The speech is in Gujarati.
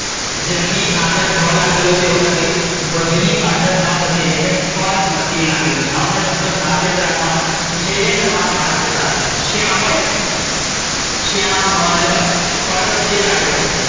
જન ની આગડ ભ લાગેલો છે એવું નથી. ભજની પાછડ ન પ્રત્યય એટ્લે કે પરપ્રત્યય લાગેલો છે. આવા બધા શબ્દ ખાસ યાદ રાખવાના. પૂછાય જાય ને તો તમારા માર્ક જતાં રે. શ્યામલ . શ્યા મ લ પરપ્રત્યય લાગેલો છે.